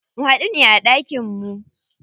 Mu huɗu ne a ɗakin mu.